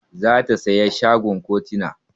Za ta saya shagon kontena.